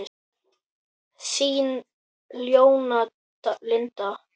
Þín, Jóna Lind.